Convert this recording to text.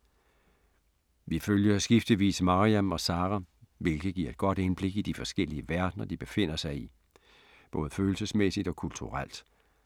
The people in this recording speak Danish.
Vi følger skiftevis Maryam og Sara, hvilket giver et godt indblik i de forskellige verdener, de befinder sig i, både følelsesmæssigt og kulturelt.